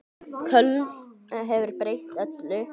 Köln hefur breytt öllu.